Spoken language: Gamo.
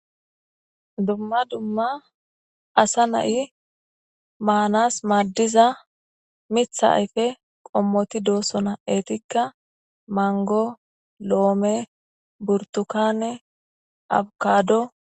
Dumma dumma asa na7i maanas maddiza mitha ayfe qommoti doosona eetikka mango loome burtukanne abukado.